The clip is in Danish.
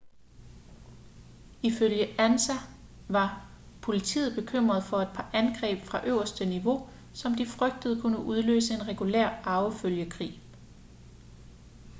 ifølge ansa var politiet bekymret for et par angreb fra øverste niveau som de frygtede kunne udløse en regulær arvefølgekrig